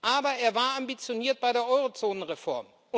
Aber er war ambitioniert bei der Eurozonenreform.